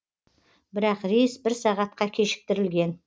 бірақ рейс бір сағатқа кешіктірілген